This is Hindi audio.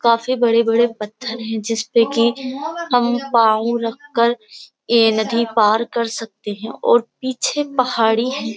काफी बड़े-बड़े पत्थर हैं जिस पे कि हम पांव रखकर ये नदी पार कर सकते हैं और पीछे पहाड़ी हैं।